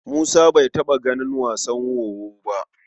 Musa bai taɓa ganin wasan wowo ba.